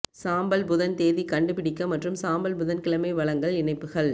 சாம்பல் புதன் தேதி கண்டுபிடிக்க மற்றும் சாம்பல் புதன்கிழமை வளங்கள் இணைப்புகள்